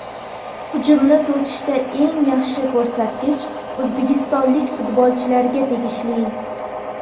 Hujumni to‘sishda eng yaxshi ko‘rsatkich o‘zbekistonlik futbolchilarga tegishli.